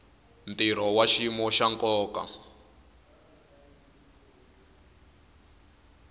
ntirho wa xiyimo xa nkoka